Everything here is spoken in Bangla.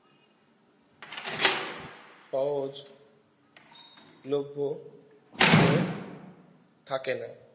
সহজ লোভ্ভো হয়ে থাকে না